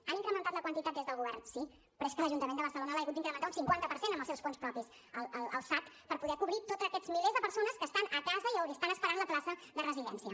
han incrementat la quantitat des del govern sí però és que l’ajuntament de barcelona l’ha hagut d’incrementar un cinquanta per cent amb els seus fons propis el sad per poder cobrir tots aquests milers de persones que estan a casa i estan esperant la plaça de residència